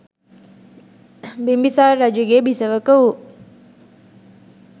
බිම්බිසාර රජුගේ බිසවක වූ